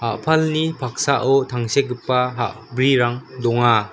a·palni paksao tangsekgipa ha·brirang donga.